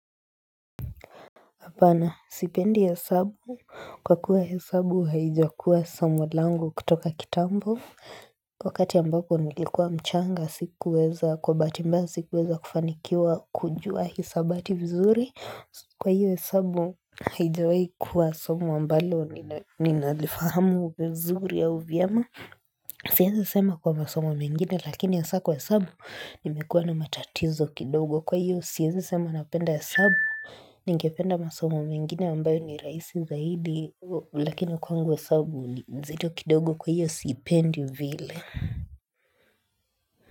Hapana, sipendi hesabu, kwa kuwa hesabu, haijakuwa somo langu kutoka kitambo. Wakati ambapo, nilikuwa mchanga, sikuweza kwa batimba, sikuweza kufanikiwa kujua hisabati vizuri. Kwa hiyo hesabu, haijawaikuwa somo ambalo, ninalifahamu vizuri au vyema. Siwezi sema kwa masomo mengine, lakini hasa kwa hesabu, nimekuwa na matatizo kindogo. Kwa hiyo siwezi sema napenda hesabu Ningependa masomo mengine ambayo ni rahisi zaidi Lakini kwa kwangu hesabu ni nzito kindogo kwa hiyo siipendi vile.